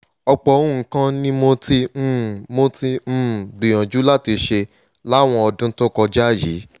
ọ̀pọ̀ nǹkan ni mo ti um mo ti um gbìyànjú láti ṣe láwọn ọdún tó kọjá yìí